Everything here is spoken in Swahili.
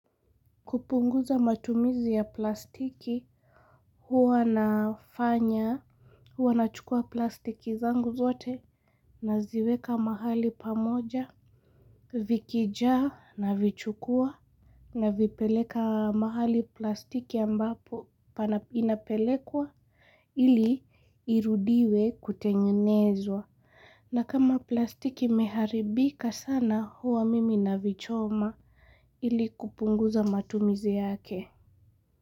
Kupunguza matumizi ya plastiki huwa nafanya. Huwa nachukua plastiki zangu zote. Naziweka mahali pamoja. Vikijaa navichukua navipeleka mahali plastiki ambapo Inapelekwa. Ili irudiwe kutengenezwa. Na kama plastiki imeharibika sana huwa mimi navichoma. Ili kupunguza matumizi yake.